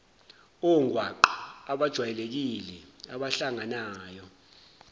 ongwaqa abajwayelekile abahlanganayo